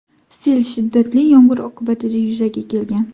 Sel shiddatli yomg‘ir oqibatida yuzaga kelgan.